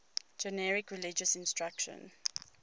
generic religious instruction